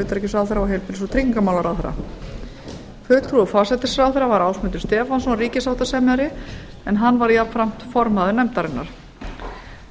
utanríkisráðherra og heilbrigðis og tryggingamálaráðherra fulltrúi forsætisráðherra var ásmundur stefánsson ríkissáttasemjari en hann var jafnframt formaður nefndarinnar